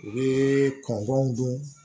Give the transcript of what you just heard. U bɛ kɔntɔnw dun